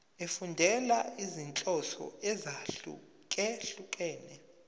efundela izinhloso ezahlukehlukene